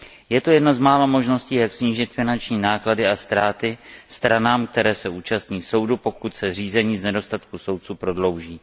Je to jedna z mála možností, jak snížit finanční náklady a ztráty stranám, které se účastní soudu, pokud se řízení z nedostatku soudců prodlouží.